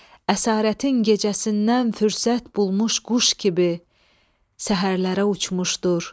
Əsarətin gecəsindən fürsət bulmuş quş kimi səhərlərə uçmuşdur.